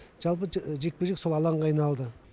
жалпы жекпе жек сол алаңға айналды